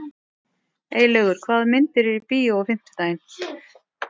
Eylaugur, hvaða myndir eru í bíó á fimmtudaginn?